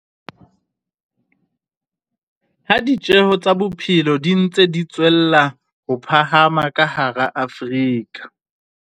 Ha ditjeo tsa bophelo di ntse di tswella ho phahama ka hara Afrika